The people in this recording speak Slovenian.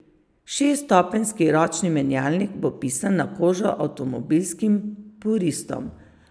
Šeststopenjski ročni menjalnik bo pisan na kožo avtomobilskim puristom.